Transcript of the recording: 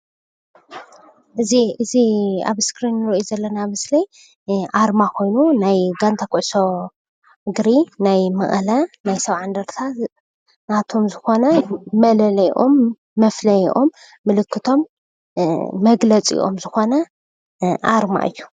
እዚ ኣብ እስክሪን እንርእዮ ዘለና ምስሊ ኣርማ ኮይኑ ናይ ጋንታ ኩዕሶ እግሪ ናይ መቐለ ናይ ሰብዓ እንደርታ ናቶም ዝኮነ መለለይኦም፣ መፍለይኦም፣ ምልክቶም፣ መግለፂኦም ዝኮነ ኣርማ እዩ።